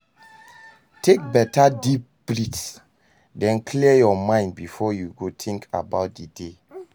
Take beta deep breathe den clear yur mind bifor yu begin tink about di day.